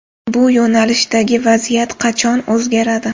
Bu yo‘nalishdagi vaziyat qachon o‘zgaradi?